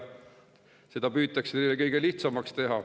Seda püütakse neile lihtsamaks teha.